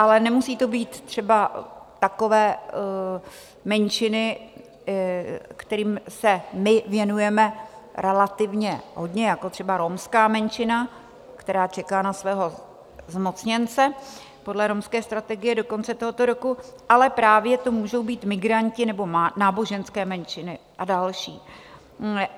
Ale nemusí to být třeba takové menšiny, kterým se my věnujeme relativně hodně, jako třeba romská menšina, která čeká na svého zmocněnce podle romské strategie do konce tohoto roku, ale právě to můžou být migranti nebo náboženské menšiny a další.